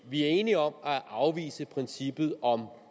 vi er enige om at afvise princippet om